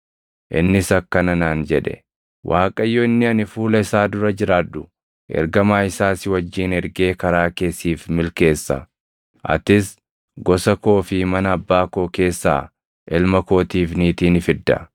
“Innis akkana naan jedhe; ‘ Waaqayyo inni ani fuula isaa dura jiraadhu ergamaa isaa si wajjin ergee karaa kee siif milkeessa; atis gosa koo fi mana abbaa koo keessaa ilma kootiif niitii ni fidda.